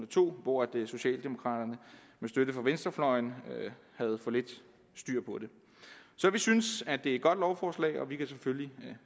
to hvor socialdemokraterne med støtte fra venstrefløjen havde for lidt styr på det så vi synes det er et godt lovforslag og vi kan selvfølgelig